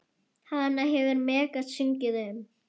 Hana hefur Megas sungið um.